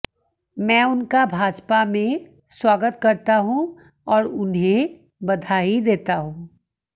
मैं उनका भाजपा में स्वागत करता हूं और उन्हें बधाई देता हूं